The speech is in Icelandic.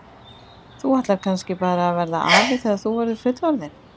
Þú ætlar kannski bara að verða afi þegar þú verður fullorðinn?